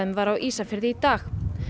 var á Ísafirði í dag